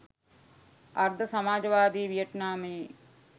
අර්ධ සමාජවාදී වියට්නාමයේ